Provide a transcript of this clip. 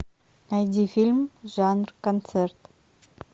найди фильм жанр концерт